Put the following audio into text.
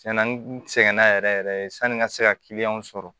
Tiɲɛna n sɛgɛnna yɛrɛ yɛrɛ sanni n ka se ka kiliyanw sɔrɔ